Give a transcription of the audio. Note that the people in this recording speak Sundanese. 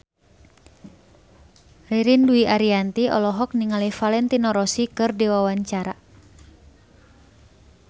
Ririn Dwi Ariyanti olohok ningali Valentino Rossi keur diwawancara